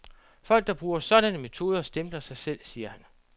Folk, der bruger sådanne metoder, stempler sig selv, siger han.